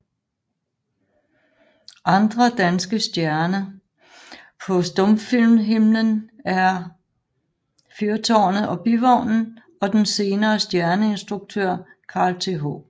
Andre danske stjerne på stumfilmhimlen er Fyrtaarnet og Bivognen og den senere stjerneinstruktør Carl Th